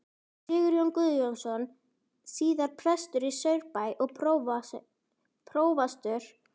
Sigurjón Guðjónsson, síðar prestur í Saurbæ og prófastur.